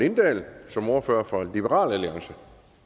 lindahl som ordfører for liberal alliance